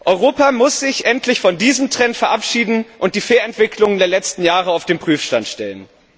Europa muss sich endlich von diesem Trend verabschieden und die Fehlentwicklungen der letzten Jahre auf den Prüfstand stellen.